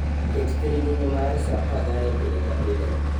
Ket thiring'inyi mar saa 12 pile ka pile